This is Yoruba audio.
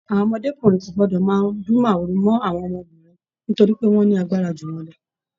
Àwọn ọmọdékunrin kò gbọdọ máa dùn mọ̀húrú mọ àwọn obìnrin nítorí pé wọn lágbára jù wọn lọ!